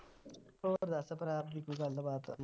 ਹੋਰ ਦੱਸ ਭਰਾ ਕੀ ਕੋਈ ਗੱਲਬਾਤ